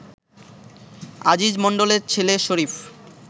আজিজ মন্ডলের ছেলে শরীফ